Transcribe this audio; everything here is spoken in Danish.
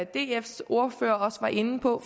dfs ordfører også var inde på